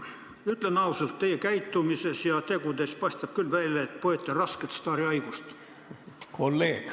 Ütlen ausalt: teie käitumisest ja tegudest paistab küll välja, et põete rasket staarihaigust.